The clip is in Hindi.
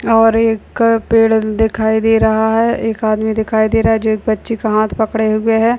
और एक पेड़ दिखाई दे रहा है। एक आदमी दिखाई दे रहा है जो एक बच्ची का हाथ पकड़े हुए है।